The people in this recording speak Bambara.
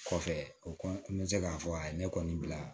Kɔfɛ o kɔ n bɛ se k'a fɔ a ye ne kɔni bila